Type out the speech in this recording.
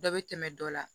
Dɔ bɛ tɛmɛ dɔ la